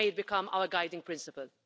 May it become our guiding principle.